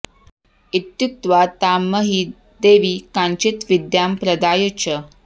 इत्युक्त्वा तां मही देवी काञ्चित् विद्यां प्रदाय च